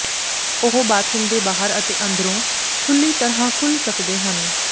ਉਹ ਬਾਥਰੂਮ ਦੇ ਬਾਹਰ ਅਤੇ ਅੰਦਰੋਂ ਖੁੱਲ੍ਹੀ ਤਰ੍ਹਾਂ ਖੁੱਲ੍ਹ ਸਕਦੇ ਹਨ